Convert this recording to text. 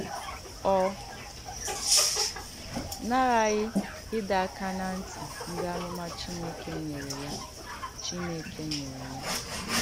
Ọ nàràghị ìdọ̀ àkà n’àn̄tì ndí àmùmà Chìnèkè nyèrè ya Chìnèkè nyèrè ya